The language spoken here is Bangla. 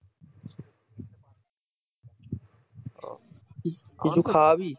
কিছু খাওয়াবি